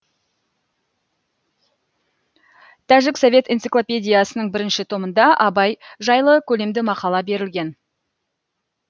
тәжік совет энциклопедиясының бірінші томында абай жайлы көлемді мақала берілген